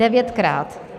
Devětkrát!